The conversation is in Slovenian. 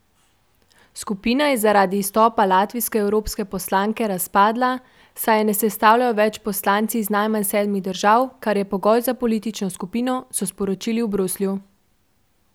Skupina je zaradi izstopa latvijske evropske poslanke razpadla, saj je ne sestavljajo več poslanci iz najmanj sedmih držav, kar je pogoj za politično skupino, so sporočili v Bruslju.